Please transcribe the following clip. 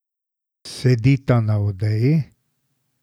Sedita na odeji.